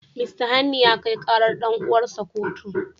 Mista Hanni ya kai karar dan'uwarsa kotu.